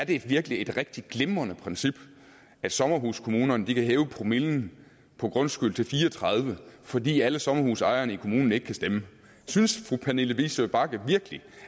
det virkelig er et rigtig glimrende princip at sommerhuskommunerne kan hæve promillen på grundskyld til fire og tredive fordi alle sommerhusejerne i kommunen ikke kan stemme synes fru pernille vigsø bagge virkelig